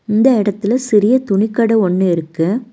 இந்த எடத்துல சிறிய துணி கட ஒன்னு இருக்கு.